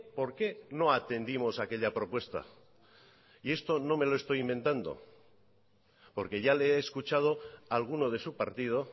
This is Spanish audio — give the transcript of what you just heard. por qué no atendimos aquella propuesta y esto no me lo estoy inventando porque ya le he escuchado a alguno de su partido